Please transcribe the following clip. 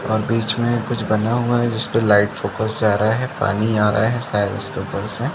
और बीच में कुछ बना हुआ है जिसपे लाइट फोकस जा रहा है पानी आ रहा है शायद इसके ऊपर से--